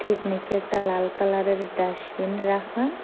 এক নিচে একটা লাল কালার -এর ডাসবিন রাখা।